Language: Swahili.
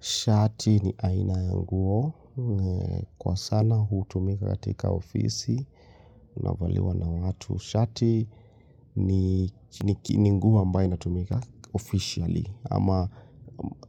Shati ni aina ya nguo. Kwa sana hutumika katika ofisi. Inavaliwa na watu. Shati ni nguo ambayo inatumika officially ama